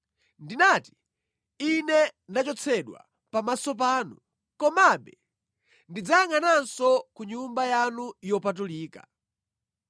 Ndinati, ‘Ine ndachotsedwa pamaso panu; komabe ndidzayangʼananso ku Nyumba yanu yopatulika.’